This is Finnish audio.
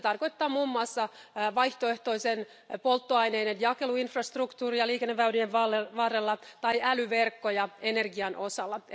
Se tarkoittaa muun muassa vaihtoehtoisten polttoaineiden jakeluinfrastruktuuria liikenneväylien varrella tai älyverkkoja energian